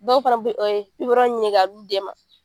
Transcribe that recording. Dɔw fana bi ye ɲini ka di u den ma.